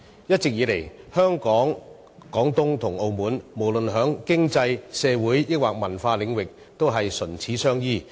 一直以來，香港、廣東和澳門無論在經濟、社會和文化領域上，也是唇齒相依。